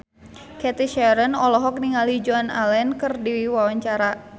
Cathy Sharon olohok ningali Joan Allen keur diwawancara